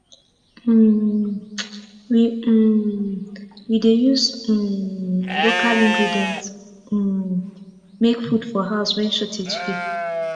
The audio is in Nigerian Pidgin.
um we um we dey use um local ingredients um make food for house wen shortage dey